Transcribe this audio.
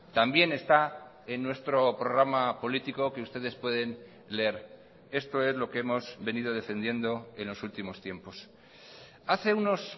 también está en nuestro programa político que ustedes pueden leer esto es lo que hemos venido defendiendo en los últimos tiempos hace unos